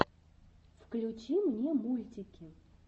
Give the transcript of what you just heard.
включи мне мультики